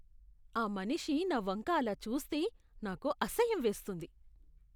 ఆ మనిషి నా వంక అలా చూస్తే నాకు అసహ్యం వేస్తుంది.